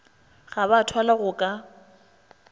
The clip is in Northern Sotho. ga ba thwalwa go ka